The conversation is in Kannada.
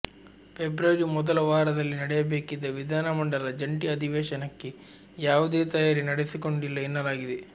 ಫೆಬ್ರವರಿ ಮೊದಲ ವಾರದಲ್ಲಿ ನಡೆಯಬೇಕಿದ್ದ ವಿಧಾನಮಂಡಲ ಜಂಟಿ ಅಧಿವೇಶನಕ್ಕೆ ಯಾವುದೇ ತಯಾರಿ ನಡೆಸಿಕೊಂಡಿಲ್ಲ ಎನ್ನಲಾಗಿದೆ